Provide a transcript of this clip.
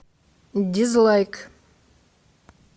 дизлайк